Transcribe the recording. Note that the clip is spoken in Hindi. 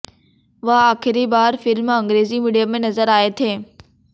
वह आखिरी बार फिल्म अंग्रेजी मीडियम में नजर आए थे